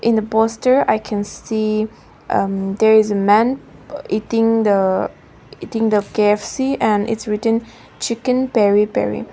in the poster i can see um there is a men uh eating the eating the K_F_C and its written chicken peri peri.